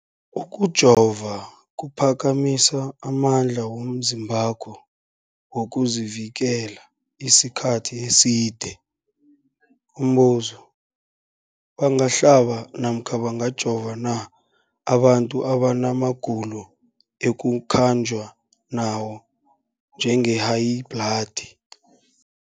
Ukujova kuphakamisa amandla womzimbakho wokuzivikela isikhathi eside. Umbuzo, bangahlaba namkha bangajova na abantu abana magulo ekukhanjwa nawo, njengehayibhladi?